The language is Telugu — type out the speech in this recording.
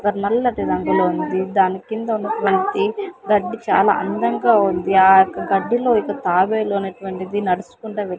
ఒక నల్లటి రంగులో ఉన్నది దాని కింద ఉన్నటువంటి గడ్డి చాలా అందంగా ఉంది ఆ యొక్క గడ్డిలో ఆ యొక్క తాబేలు అనేటువంటిది నడుసుకుంటా వెల్--